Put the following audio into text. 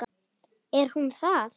Er hún það?